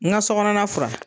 N ka so kɔnɔna furan